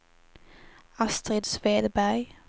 Astrid Svedberg